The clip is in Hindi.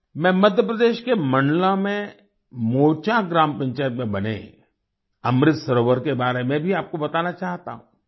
मैं मध्य प्रदेश के मंडला में मोचा ग्राम पंचायत में बने अमृत सरोवर के बारे में भी आपको बताना चाहता हूँ